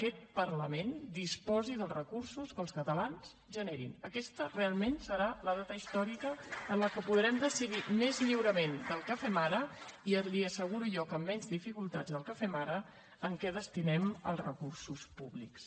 aquest parlament disposi dels recursos que els catalans generin aquesta realment serà la data històrica en la que podrem decidir més lliurement del que ho fem ara i li asseguro jo que amb menys dificultats del que ho fem ara a què destinem els recursos públics